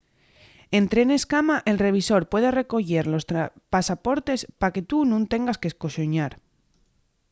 en trenes cama el revisor puede recoyer los pasaportes pa que tu nun tengas qu'esconsoñar